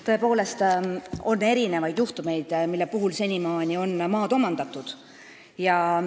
Tõepoolest, senimaani on maad omandatud erinevatel juhtudel.